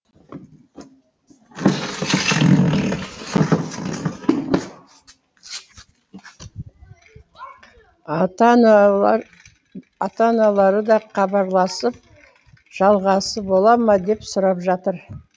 ата аналары да хабарласып жалғасы бола ма деп сұрап жатыр